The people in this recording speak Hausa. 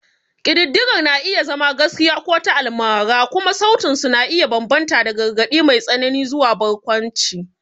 Ƙididdigar na iya zama gaskiya ko ta almara, kuma sautin su na iya bambanta daga gargaɗi mai tsanani zuwa barkwanci.